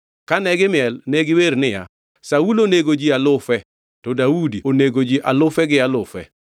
Kane gimiel, ne giwer niya, “Saulo onego ji alufe, to Daudi onego ji alufe gi alufe.”